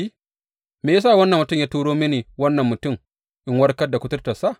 Me ya sa wannan mutum ya turo mini wannan mutum in warkar da kuturtarsa?